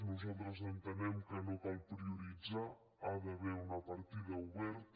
nosaltres entenem que no cal prioritzar hi ha d’haver una partida oberta